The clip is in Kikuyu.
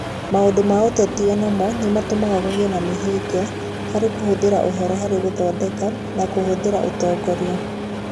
Maũndũ ma ũteti o namo nĩ matũmaga kũgĩe na mĩhĩnga harĩ kũhũthĩra ũhoro harĩ gũthondeka na kũhũthĩra ũtongoria.